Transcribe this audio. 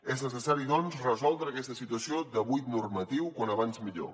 és necessari doncs resoldre aquesta situació de buit normatiu com més aviat millor